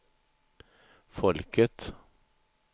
folket